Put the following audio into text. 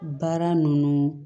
Baara ninnu